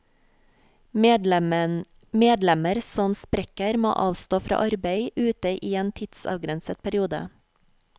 Medlemmer som sprekker, må avstå fra arbeid ute i en tidsavgrenset periode.